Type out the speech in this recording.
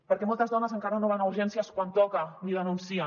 perquè moltes dones encara no van a urgències quan toca ni denuncien